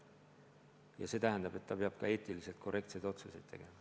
Ja see tähendab, et ta peab ka eetiliselt korrektseid otsuseid tegema.